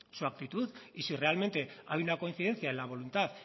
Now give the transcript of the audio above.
su actitud y si realmente hay una coincidencia en la voluntad